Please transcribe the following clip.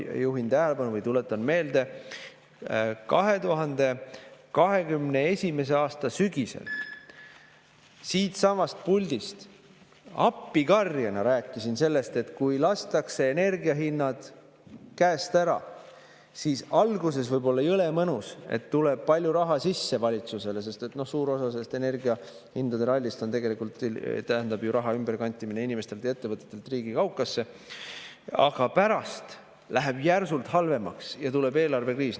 Ma juhin tähelepanu või tuletan meelde: 2021. aasta sügisel ma siitsamast puldist appikarjena rääkisin sellest, et kui lastakse energiahinnad käest ära, siis alguses võib olla jõle mõnus, et valitsusele tuleb palju raha sisse, sest suur osa sellest energiahindade rallist tähendab ju raha ümberkantimist inimestelt ja ettevõtetelt riigi kaukasse, aga pärast läheb järsult halvemaks ja tuleb eelarvekriis.